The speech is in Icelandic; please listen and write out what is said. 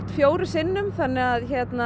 fjórum sinnum þannig að